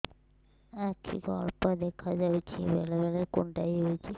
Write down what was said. ଆଖି କୁ ଅଳ୍ପ ଦେଖା ଯାଉଛି ବେଳେ ବେଳେ କୁଣ୍ଡାଇ ହଉଛି